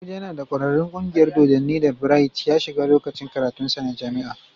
Abuja yana da ƙwararrun kungiyar dodanni da Bright ya shiga lokacin karatunsa na jami'a.